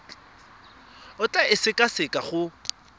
o tla e sekaseka go